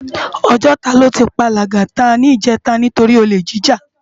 Òjòtá lò ti pá Lagata nijètá nitóri ólé jijá